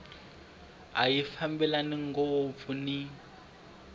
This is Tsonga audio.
a ya fambelani ngopfu ni